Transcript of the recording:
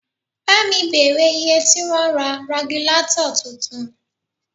Pámi bèrè iye tí wọ́n ń ra ragilátọ̀ tuntun